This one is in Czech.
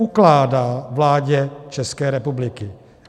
Ukládá vládě České republiky